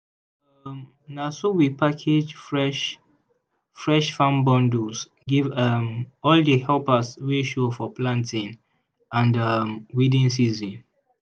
um na so we package fresh-fresh farm bundles give um all di helpers wey show for planting and um weeding season.